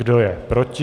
Kdo je proti?